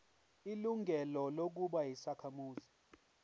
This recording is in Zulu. ilungelo lokuba yisakhamuzi